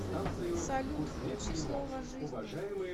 салют включи слово жизни